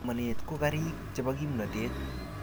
Somanet ko kariik chebo kimnatet